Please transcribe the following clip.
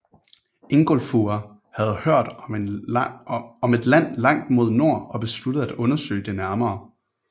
Ingólfur havde hørt om et land langt mod nord og besluttede at undersøge det nærmere